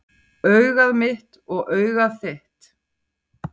Augað mitt og augað þitt,